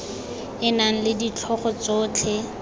e nang le ditlhogo tsotlhe